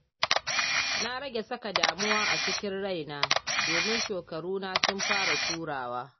Na rage saka damuwa a cikin raina, domin shekaruna sun fara turawa.